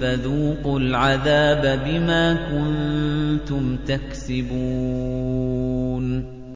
فَذُوقُوا الْعَذَابَ بِمَا كُنتُمْ تَكْسِبُونَ